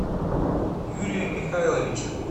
юрием михайловичем